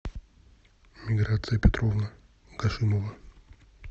миграция петровна кашимова